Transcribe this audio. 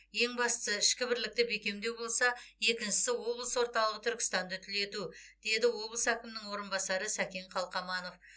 ең бастысы ішкі бірлікті бекемдеу болса екіншісі облыс орталығы түркістанды түлету деді облыс әкімінің орынбасары сәкен қалқаманов